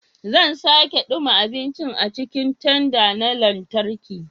Zan sake dumma abincin a cikin tanda na lantarki.